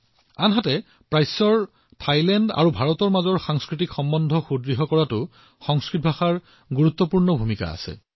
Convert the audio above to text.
ইয়াত পূবত ভাৰত আৰু থাইলেণ্ডৰ মাজত সাংস্কৃতিক সম্পৰ্ক শক্তিশালী কৰাৰ ক্ষেত্ৰত সংস্কৃত ভাষাৰো এক গুৰুত্বপূৰ্ণ ভূমিকা আছে